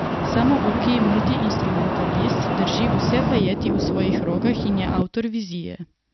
Samouki multiinstrumentalist drži vse vajeti v svojih rokah in je avtor vizije.